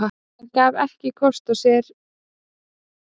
Hann gaf ekki kost á sér árið